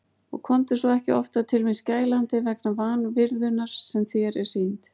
Og komdu svo ekki oftar til mín skælandi vegna vanvirðunnar sem þér er sýnd.